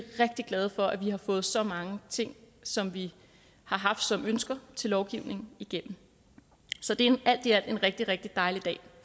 rigtig glade for at vi har fået så mange ting som vi har haft som ønsker til lovgivningen igennem så det er alt i alt en rigtig rigtig dejlig dag